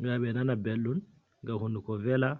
ngam be nana belɗum, ngam hunduko vela.